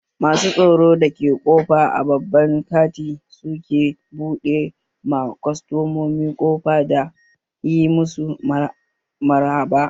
Masu tsaron da ke ƙofa a babban kanti su ke buɗe ma kwastamomi ƙofa da yi masu maraba